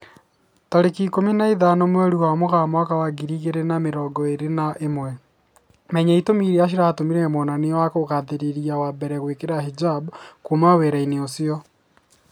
Tarĩki ikũmi na ithano mweri wa Mũgaa mwaka wa ngiri igĩri na mĩrongo ĩri na ĩmwe, Menya itũmi irĩa ciatũmire mwonania wa kugathĩrĩria wa mbere gwĩkira hijab "kuma wĩra-inĩ ucio"